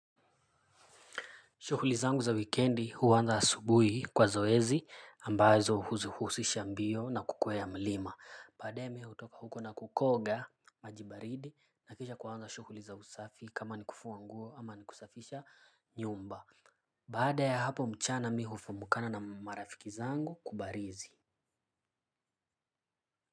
Shughuli zangu za wikendi huanza asubuhi kwa zoezi ambazo huzihusisha mbio na kukwea mlima. Baadae mi hutoka huko na kukoga maji baridi na kisha kuanza shughuli za usafi kama ni kufua nguo ama ni kusafisha nyumba. Baada ya hapo mchana mi hufamukana na marafiki zangu kubarizi.